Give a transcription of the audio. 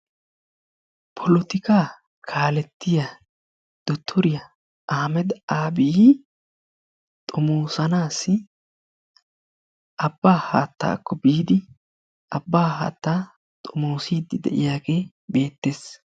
polotikka kalettiyaa dottoriyaa ahimed abiy xoomosanaassi abbaa haattaakko biidi abbaa haattaa xoomossiidi de'iyaagee beettees.